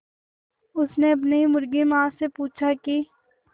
उसने अपनी मुर्गी माँ से पूछा की